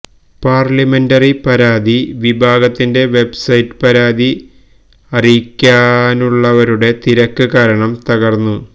parliamentary പരാതി വിഭാഗത്തിന്റെ website പരാതി അറിയിക്കാനുള്ളവരുടെ തിരക്ക് കാരണം തകര്ന്നു